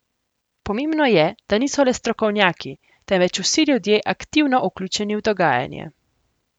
Pomembno je, da niso le strokovnjaki, temveč vsi ljudje aktivno vključeni v dogajanje.